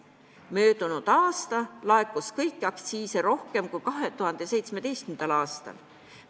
Möödunud aastal laekus kõiki aktsiise rohkem kui 2017. aastal.